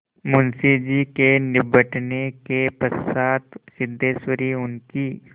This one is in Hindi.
मुंशी जी के निबटने के पश्चात सिद्धेश्वरी उनकी